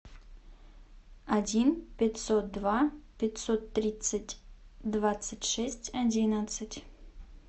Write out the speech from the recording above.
один пятьсот два пятьсот тридцать двадцать шесть одиннадцать